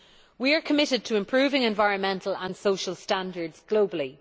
We are committed to improving environmental and social standards globally.